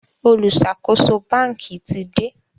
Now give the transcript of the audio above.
oluṣakoso banki tí dé